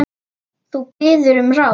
Þú biður um ráð.